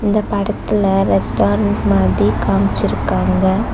இந்த படத்துல ரெஸ்டாரண்ட் மாதி காம்ச்சிருக்காங்க.